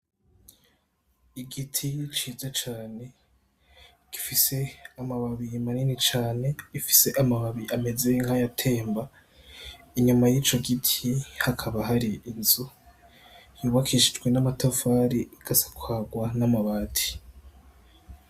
Igiti ciza cane gifise amababi manini cane gifise amababi ameze nk'ayatemba inyuma yico gitti hakaba hari inzu yubakishijwe n'amatafari igasakarwa n'amabati.